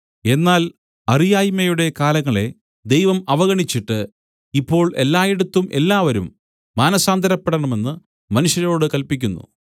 എന്നാൽ അറിയായ്മയുടെ കാലങ്ങളെ ദൈവം അവഗണിച്ചിട്ട് ഇപ്പോൾ എല്ലായിടത്തും എല്ലാവരും മാനസാന്തരപ്പെടണമെന്ന് മനുഷ്യരോടു കല്പിക്കുന്നു